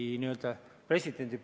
Aitäh, Maris, väga hea küsimuse eest!